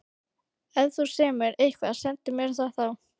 Ef þú semur eitthvað, sendu mér það þá.